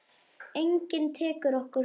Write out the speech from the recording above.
Enginn tekur okkur frá.